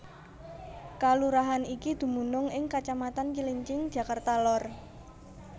Kalurahan iki dumunung ing kacamatan Cilincing Jakarta Lor